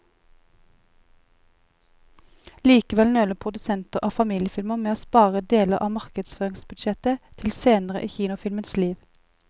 Likevel nøler produsenter av familiefilmer med å spare deler av markedsføringsbudsjettet til senere i kinofilmens liv.